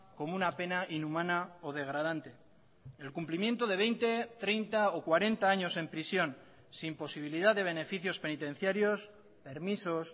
como una pena inhumana o degradante el cumplimiento de veinte treinta o cuarenta años en prisión sin posibilidad de beneficios penitenciarios permisos